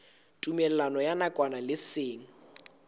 tumellano ya nakwana le seng